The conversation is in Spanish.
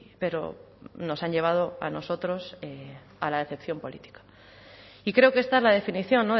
pero nos han llevado a nosotros a la decepción política y creo que esta es la definición